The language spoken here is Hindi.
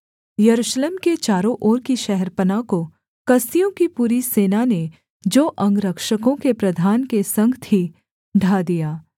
यरूशलेम के चारों ओर की शहरपनाह को कसदियों की पूरी सेना ने जो अंगरक्षकों के प्रधान के संग थी ढा दिया